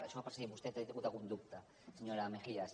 això per si vostè n’ha tingut algun dubte senyora mejías